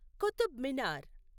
Qutub Minar